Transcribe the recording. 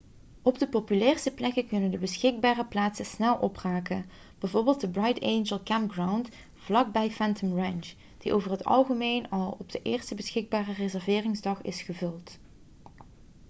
op de populairste plekken kunnen de beschikbare plaatsen snel opraken bijvoorbeeld de bright angel campground vlak bij phantom ranch die over het algemeen al op de eerste beschikbare reserveringsdag is gevuld